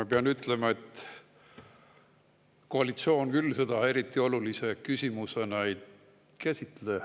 Ma pean ütlema, et koalitsioon küll seda eriti olulise küsimusena ei käsitle.